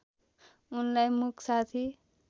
उनलाई मुक साथी